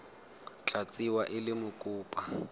tla tsewa e le mokopa